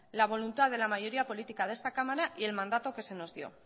la voluntad de la mayoría política de esta cámara y el mandato que se nos dio